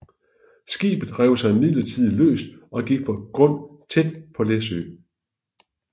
Skibet rev sig imidlertid løs og gik på grund tæt på Læsø